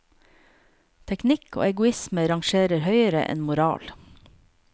Teknikk og egoisme rangerer høyere enn moral.